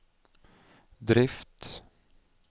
drift